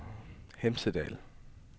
Hemsedal